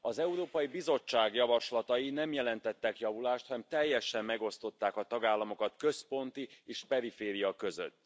Az Európai Bizottság javaslatai nem jelentettek javulást, hanem teljesen megosztották a tagállamokat központ és periféria között.